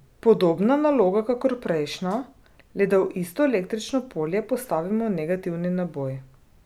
Podobna naloga kakor prejšnja, le da v isto električno polje postavimo negativni naboj.